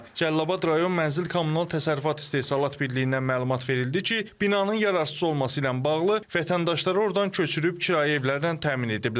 Cəlilabad rayon Mənzil Kommunal Təsərrüfat İstehsalat Birliyindən məlumat verildi ki, binanın yararsız olması ilə bağlı vətəndaşları ordan köçürüb kirayə evlərlə təmin ediblər.